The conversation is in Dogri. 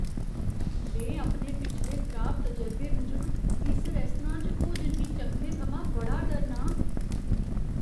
में अपने पिछले खराब तजरबे मूजब इस रेस्तरां च इस भोजन गी चक्खने थमां बड़ा डरना आं।